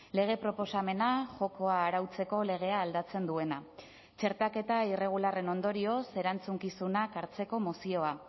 lege proposamena jokoa arautzeko legea aldatzen duena txertaketa irregularren ondorioz erantzukizunak hartzeko mozioa